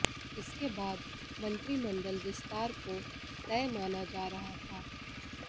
इसके बाद मंत्रिमंडल विस्तार को तय माना जा रहा था